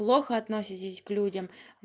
плохо относитесь к людям